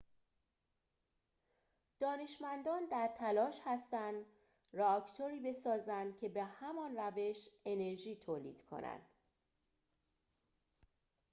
دانشمندان در تلاش هستند رآکتوری بسازند که به همان روش انرژی تولید کند